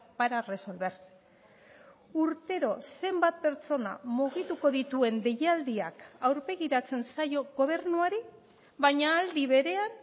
para resolverse urtero zenbat pertsona mugituko dituen deialdiak aurpegiratzen zaio gobernuari baina aldi berean